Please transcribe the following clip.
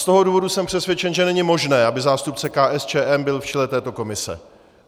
Z toho důvodu jsem přesvědčen, že není možné, aby zástupce KSČM byl v čele této komise.